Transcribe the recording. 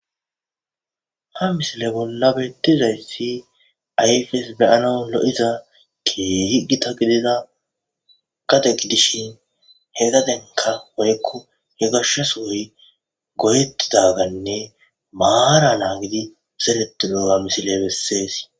Ha misile bolla bettizayssi ayfes beyana lo'iza keehi gita gidida gade gidishin he gadenka worekko he gashshaso hoy goyettidaganne maara naa gidi zereti doga misile bessees